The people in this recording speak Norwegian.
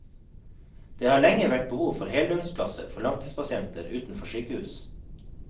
Det har lenge vært behov for heldøgnsplasser for langtidspasienter utenfor sykehus.